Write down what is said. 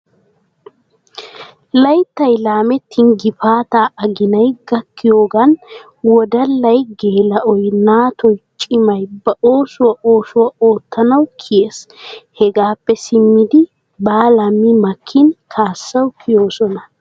Layittay laamettin gipaataa aginay gakkiyoogan woddallay, geela'oy, naatoy cimay ba oosuwa oosuwa oottanawu kiyes. Hegaappe simmidi baala mi makkin kaassawu kiyoosona.